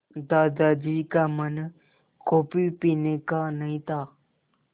दादाजी का मन कॉफ़ी पीने का नहीं था